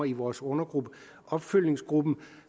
i vores undergruppe opfølgningsgruppen